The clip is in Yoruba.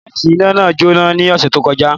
Súwísì iná náà jóná l'ọ́ṣẹ̀ tó kọjá